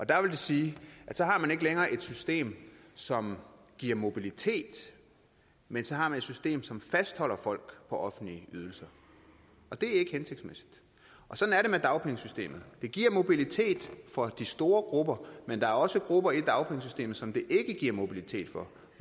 det vil sige at så har man ikke længere et system som giver mobilitet men så har man et system som fastholder folk på offentlige ydelser og det er ikke hensigtsmæssigt og sådan er det med dagpengesystemet det giver mobilitet for de store grupper men der er også grupper i dagpengesystemet som det ikke giver mobilitet for